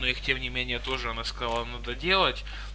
ну их тем не менее тоже она сказала надо делать